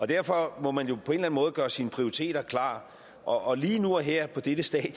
derfor må man jo på en eller anden måde gøre sine prioriteter klart og lige nu og her på dette stadie